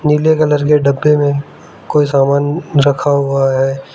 पीले कलर के डब्बे में कोई सामान रखा हुआ है।